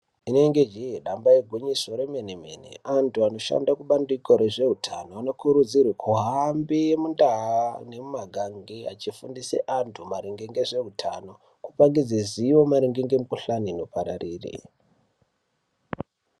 Rinenge jee damba igwinyiso remene-mene antu anoshanda mubandiko rezveutano anokurudzirwe kuhambe mundaa nemumakange achifundise antu maringe ngezvehutano. Kupangidze zivo maringemikuhlani inopararire